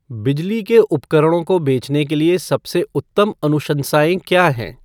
बिजली के उपकरणों को बेचने के लिए सबसे उत्तम अनुशंसाएं क्या हैं?